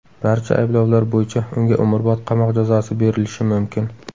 Barcha ayblovlar bo‘yicha unga umrbod qamoq jazosi berilishi mumkin.